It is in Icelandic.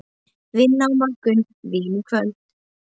Vinna á morgun, vín í kvöld.